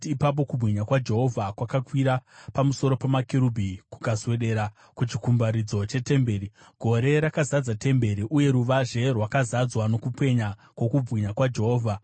Ipapo kubwinya kwaJehovha kwakakwira pamusoro pamakerubhi kukaswedera kuchikumbaridzo chetemberi. Gore rakazadza temberi, uye ruvazhe rukazadzwa nokupenya kwokubwinya kwaJehovha.